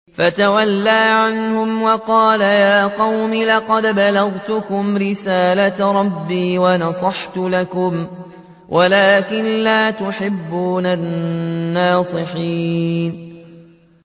فَتَوَلَّىٰ عَنْهُمْ وَقَالَ يَا قَوْمِ لَقَدْ أَبْلَغْتُكُمْ رِسَالَةَ رَبِّي وَنَصَحْتُ لَكُمْ وَلَٰكِن لَّا تُحِبُّونَ النَّاصِحِينَ